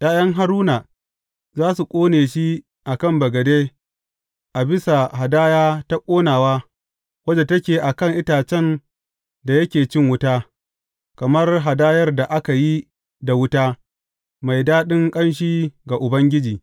’Ya’yan Haruna za su ƙone shi a kan bagade a bisa hadaya ta ƙonawa wadda take a kan itacen da yake cin wuta, kamar hadayar da ka yi da wuta, mai daɗin ƙanshi ga Ubangiji.